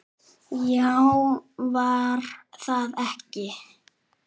Já, var það ekki?